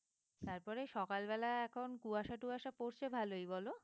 তারপরে সকালবেলা এখন কুয়াশা টুয়াশা পড়ছে ভালোই বলো?